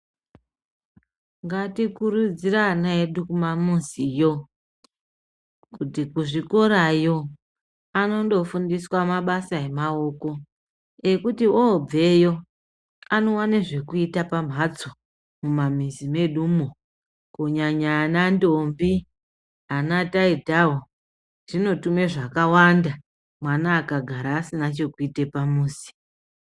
Ngati kurudzire ana edu kumamiziyo, kuti kuzvikorayo anondo fundiswa mabasa emaoko ekuti oobveyo anowane zvekuite pamhatso, mumamizi medumo. Kunyanya ana ndombi, ana taitawo. Zvino tume zvakawanda mwana akagara asina chekuite pamuzi.